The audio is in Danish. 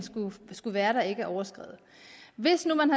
skulle være der ikke er overskredet hvis nu man